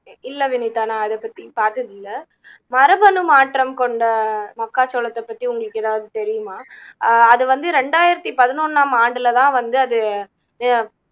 இல்லை வினிதா நான் அதைப்பத்தி பார்த்ததில்லை மரபணு மாற்றம் கொண்ட மக்காச்சோளத்தை பத்தி உங்களுக்கு ஏதாவது தெரியுமா அஹ் அது வந்து ரெண்டாயிரத்தி பதினொன்னாம் ஆண்டுல தான் வந்து அது அஹ்